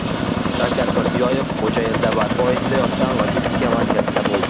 Shavkat Mirziyoyev Xo‘jaylida barpo etilayotgan logistika markazida bo‘ldi.